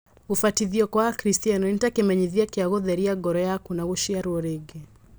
Gũbatithio kwa akristiano nĩ ta kĩmenyithia kĩa gũtheria ngoro yaku na gũciarwo rĩngĩ.